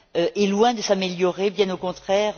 est loin de s'améliorer, bien au contraire.